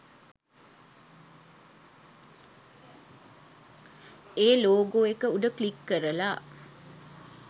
ඒ logo එක උඩ click කරලා